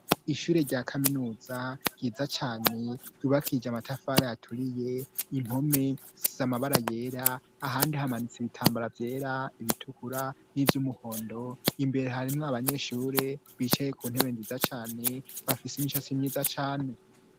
Ishure rya kaminuza ryiza cane ryubakije amatafare aturiye impome z'amabara yera ahandi hamanutse ibitambara byera ibitukura n'iby'umuhondo imbere harimwo abanyeshuri bicaye ku ntebe nziza cane bafise imisasi myiza cane.